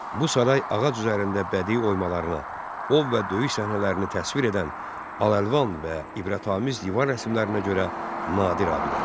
Bu saray ağac üzərində bədii oymalarına, ov və döyüş səhnələrini təsvir edən al-əlvan və ibarətamiz divar rəsmilərinə görə nadir abidədir.